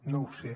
no ho sé